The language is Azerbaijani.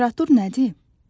Temperatur nədir?